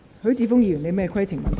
許智峯議員，你有甚麼規程問題？